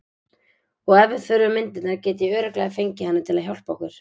Og ef við þurfum myndirnar get ég örugglega fengið hana til að hjálpa okkur.